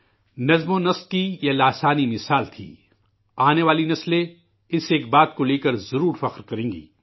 نظم و ضبط کی یہ غیر معمولی مثال تھی، آنے والی نسلیں اس ایک بات پر ضرور فخر کرے گی